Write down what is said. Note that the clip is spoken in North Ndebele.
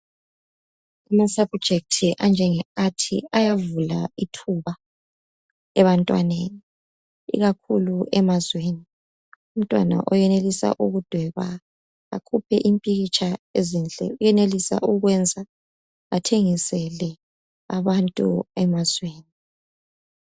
Ama subject anjenge Arts ayavula ithuba ebantwaneni ikakhulu emazweni. Umntwana oyenelisa ukudweba akhuphe impikitsha ezinhle. Uyenelisa ukwenza athengisele abantu emazweni.